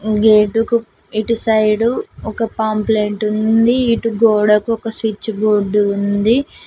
Gate కు ఇటు side ఒక పాంప్లేటు ఉంది ఇటు గోడకు ఒక స్విచ్ బోర్డు ఉంది.